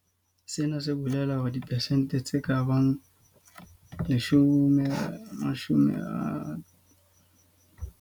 Sena se bolela hore dipersente tse ka bang 38 tsa boitlamo bohle ba matsete - kapa dibilione tse 290 tsa diranta - di se di kene mo ruong wa rona ho fihlela jwale.